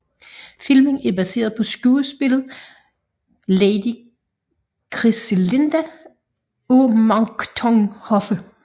Filmen er baseret på skuespillet Lady Cristilinda af Monckton Hoffe